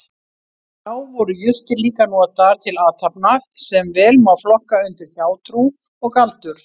Þá voru jurtir líka notaðar til athafna sem vel má flokka undir hjátrú og galdur.